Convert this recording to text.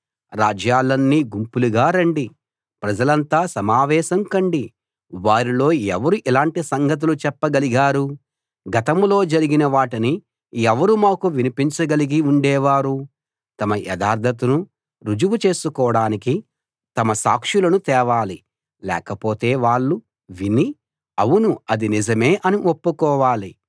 రాజ్యాలన్నీ గుంపులుగా రండి ప్రజలంతా సమావేశం కండి వారిలో ఎవరు ఇలాటి సంగతులు చెప్పగలిగారు గతంలో జరిగిన వాటిని ఎవరు మాకు వినిపించ గలిగి ఉండేవారు తమ యథార్థతను రుజువు చేసుకోడానికి తమ సాక్షులను తేవాలి లేకపోతే వాళ్ళు విని అవును అది నిజమే అని ఒప్పుకోవాలి